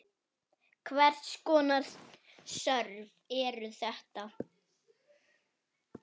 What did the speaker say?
Hvers konar störf eru þetta?